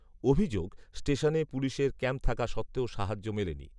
অভিযোগ, স্টেশনে পুলিশের ক্যাম্প থাকা সত্ত্বেও সাহায্য মেলেনি